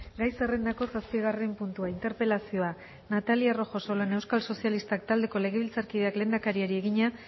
gai zerrendako zazpigarren puntua interpelazioa natalia rojo solana euskal sozialistak taldeko legebiltzarkideak lehendakariari egina